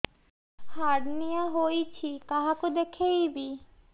hernia ହୋଇଛି କାହାକୁ ଦେଖେଇବି